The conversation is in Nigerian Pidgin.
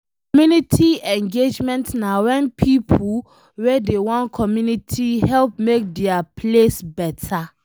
Community engagement na wen pipo wey dey one community help make dia place beta